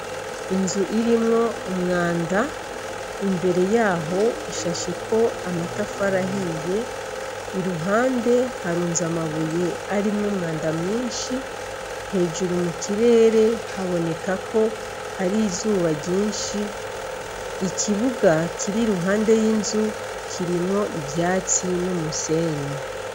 Inzu irimwo umwanda imbere yaho ishasheko amatafari ahiye i ruhande harunze amabuye arimwo umwanda mwinshi hejuru mu kirere haboneka ko hari izuba ryinshi ikibuga kiri iruhande y'inzu kirimwo ivyatsi n'umusenyi.